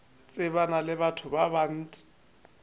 tsebana le batho ba bant